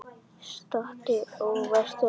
Stattu og vertu að steini